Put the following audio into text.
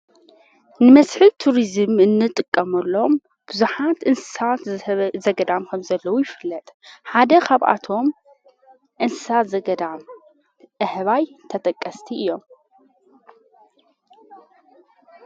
ንመስኅል ቱርዝም እንጥቀመሎም ብዙኃት እንሳት ዘገዳም ከም ዘለዉ ይፍለጥ ሓደ ኻብኣቶም እንሣት ዘገዳም ኣህባይ ተጠቀስቲ እዮም።